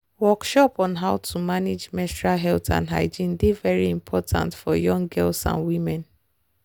workshop on how to manage menstrual health and hygiene dey very important for young girls and women.